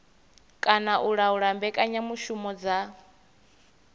kana u laula mbekanyamushumo dza